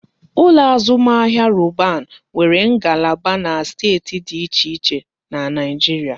Ụlọ azụmahịa Roban nwere ngalaba na steeti dị iche iche n'Naijiria